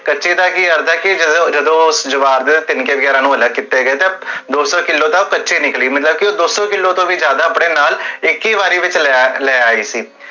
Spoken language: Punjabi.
ਕਚੇ ਦਾ ਕੀ ਕਰਦਾ ਕੀ